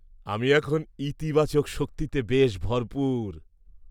আমি এখন ইতিবাচক শক্তিতে বেশ ভরপুর।